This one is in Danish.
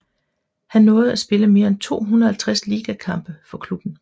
Han nåede at spille mere end 250 ligakampe for klubben